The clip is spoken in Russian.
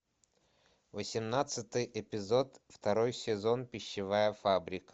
восемнадцатый эпизод второй сезон пищевая фабрика